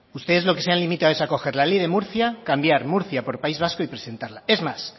ustedes lo que se han limitado es a coger la ley de murcia cambiar murcia por país vasco y presentarla es más